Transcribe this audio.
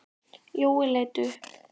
Jói leit upp.